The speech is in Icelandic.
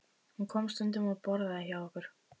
Hún kom stundum og borðaði hjá okkur.